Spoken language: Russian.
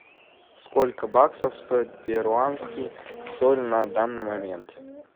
сколько баксов стоит перуанский соль на данный момент